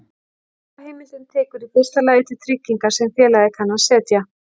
Lagaheimildin tekur í fyrsta lagi til trygginga sem félagið kann að setja.